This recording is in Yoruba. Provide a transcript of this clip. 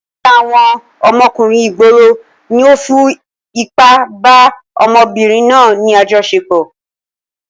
Ọ̀kan lára àwọn ọmọkùnrin ìgboro ni ó fi ipá bá ọ̀dọ́mọbìnrin náà ní àjọṣepọ̀.